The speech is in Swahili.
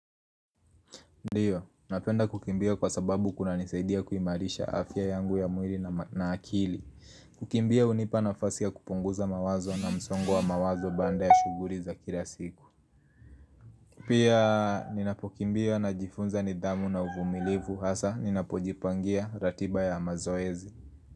Ndio, napenda kukimbia kwa sababu kuna nisaidia kuimarisha afya yangu ya mwili na akili kukimbia hunipa nafasia kupunguza mawazo na msongo wa mawazo baada ya shuguli za kila siku pia, ninapokimbia najifunza ni damu na uvumilivu Hasa, ninapojipangia ratiba ya mazoezi.